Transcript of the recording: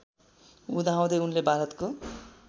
हुँदाहुँदै उनले भारतको